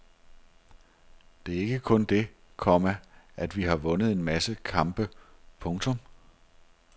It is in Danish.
Det er ikke kun det, komma at vi har vundet en masse kampe. punktum